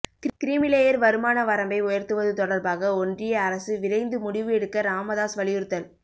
creamy layer வருமான வரம்பை உயர்த்துவது தொடர்பாக ஒன்றிய அரசு விரைந்து முடிவு எடுக்க ராமதாஸ் வலியுறுத்தல்